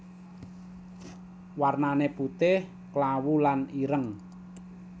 Warnané putih klawu lan ireng